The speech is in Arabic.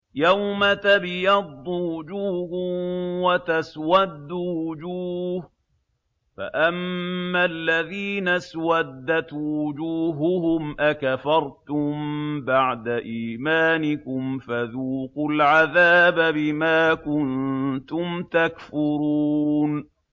يَوْمَ تَبْيَضُّ وُجُوهٌ وَتَسْوَدُّ وُجُوهٌ ۚ فَأَمَّا الَّذِينَ اسْوَدَّتْ وُجُوهُهُمْ أَكَفَرْتُم بَعْدَ إِيمَانِكُمْ فَذُوقُوا الْعَذَابَ بِمَا كُنتُمْ تَكْفُرُونَ